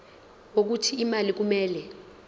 wokuthi imali kumele